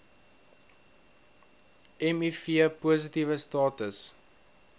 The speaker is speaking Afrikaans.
miv positiewe status